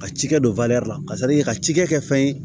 Ka cikɛ don la ka ka cikɛ kɛ fɛn ye